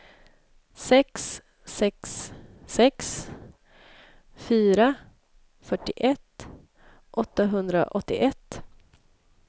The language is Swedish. sex sex sex fyra fyrtioett åttahundraåttioett